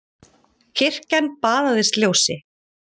Kirkjan baðaðist ljósi.